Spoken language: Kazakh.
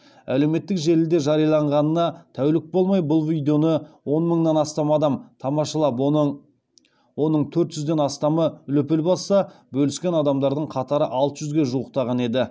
әлеуметтік желіде жарияланғанына тәулік болмай бұл видеоны он мыңнан астам адам тамашалап оның төрт жүзден астамы лүпіл басса бөліскен адамдардың қатары алты жүзге жуықтаған еді